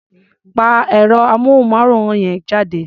Pa ẹ̀rọ-amóhùnmáwòrán yẹn jàre.